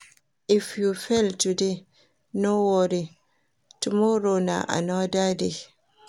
If you fail today, no worry, tomorrow na another day.